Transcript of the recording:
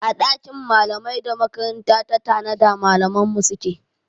A ɗakin malamai da makaranta ta tanada malaman mu suke